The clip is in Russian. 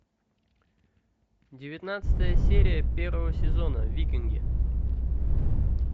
девятнадцатая серия первого сезона викинги